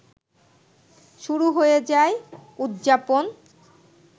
শুরু হয়ে যায় উদযাপন